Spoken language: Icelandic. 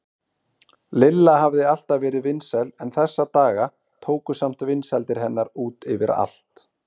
Lilla hafði alltaf verið vinsæl en þessa daga tóku samt vinsældir hennar út yfir allt.